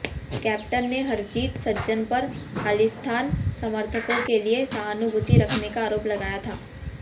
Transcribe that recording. captain ने हरजीत सज्जन पर खालिस्तान समर्थकों के लिए सहानुभूति रखने का आरोप लगाया था